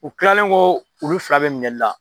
U kilalen kɔ olu fila bɛ minɛli la.